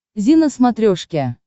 зи на смотрешке